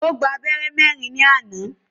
Ó gbá abẹ́rẹ́ mẹ́rin ní àná.